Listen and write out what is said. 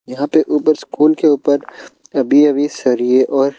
यहां पे ऊपर स्कूल के ऊपर अभी अभी सरिए और--